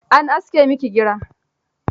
An aske miki gira?